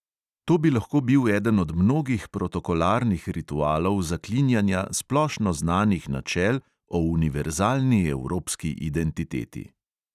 To bi lahko bil eden od mnogih protokolarnih ritualov zaklinjanja splošno znanih načel o univerzalni evropski identiteti.